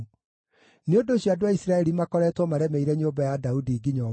Nĩ ũndũ ũcio andũ a Isiraeli makoretwo maremeire nyũmba ya Daudi nginya ũmũthĩ.